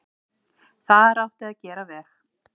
Þar átti að gera veg.